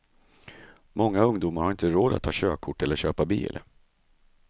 Många ungdomar har inte råd att ta körkort eller köpa bil.